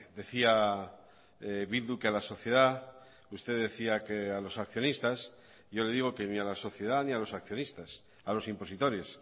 decía bildu que a la sociedad usted decía que a los accionistas yo le digo que ni a la sociedad ni a los accionistas a los impositores